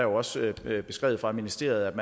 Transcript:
også beskrevet fra ministeriets